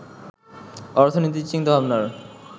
অর্থনৈতিক চিন্তাভাবনার